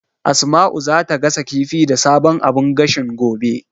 Asma'u zata gasa kifi da sabon abun gashin, gobe.